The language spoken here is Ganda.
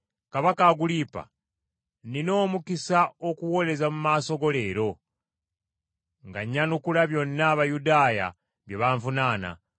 “Kabaka Agulipa, nnina omukisa okuwoleza mu maaso go leero, nga nnyanukula byonna Abayudaaya bye banvunaana,